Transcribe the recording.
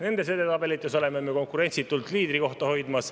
Nendes edetabelites hoiame me konkurentsitult liidrikohta.